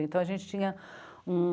Então, a gente tinha um...